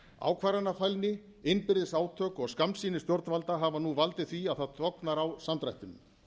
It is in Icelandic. ákvarðanafælni innbyrðis átök og skammsýni stjórnvalda hefur nú valdið því að það tognar á samdrættinum